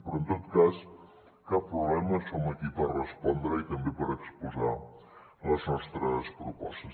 però en tot cas cap problema som aquí per respondre i també per exposar les nostres propostes